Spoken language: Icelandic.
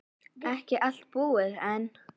Ekki allt búið enn.